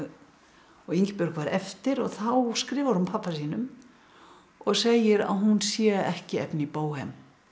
og Ingibjörg varð eftir og þá skrifar hún pabba sínum og segir að hún sé ekki efni í bóhem